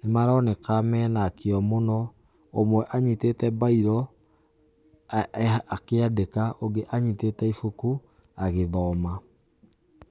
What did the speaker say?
nĩ maroneka mena kĩo mũno, ũmwe anyitĩte bairo akĩandĩka ,ũmwe anyitĩte ibuku agĩthoma.